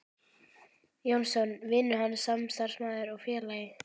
Jónsson: vinur hans, samstarfsmaður og félagi.